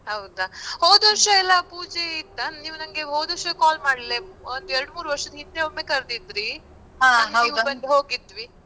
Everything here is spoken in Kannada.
ಹೌದಾ, ಹೋದ್ ವರ್ಷ ಎಲ್ಲಾ ಪೂಜೆ ಇತ್ತ? ನೀವ್ ನಂಗೆ ಹೋದ್ ವರ್ಷ call ಮಾಡಿಲ್ಲ ಒಂದ್ ಎರಡ್ ಮೂರ್ ವರ್ಷ ಹಿಂದೆ ಒಮ್ಮೆ ಕರ್ದಿದ್ರಿ ಬಂದು ಹೋಗಿದ್ವಿ.